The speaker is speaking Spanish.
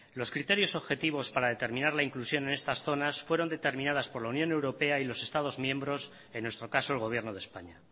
los criterios objetivos para determinar la inclusión en estas zonas fueron determinadas por la unión europea y los estados miembros en nuestro caso el gobierno de españa